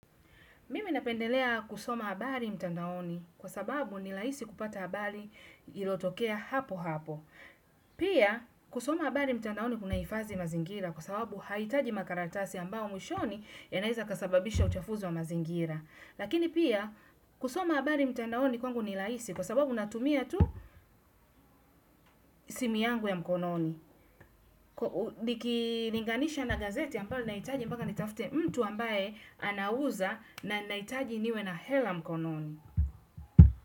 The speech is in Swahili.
Mimi napendelea kusoma habari mtandaoni kwa sababu ni rahisi kupata habari iliotokea hapo hapo. Pia kusoma habari mtandaoni kunahifadhi mazingira kwa sababu haihitaji makaratasi ambao mwishoni yanaeza yakasababisha uchafuzi wa mazingira. Lakini pia kusoma habari mtandaoni ni rahisi kwa sababu natumia tu simu yangu ya mkononi. Nikilinganisha na gazeti ambao nahitaji mpaka nitafute mtu ambaye anauza na nahitaji niwe na hela mkononi.